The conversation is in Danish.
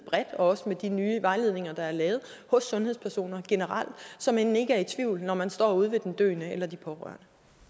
og også i de nye vejledninger der er lavet hos sundhedspersoner generelt så man ikke er i tvivl når man står ude hos den døende eller de pårørende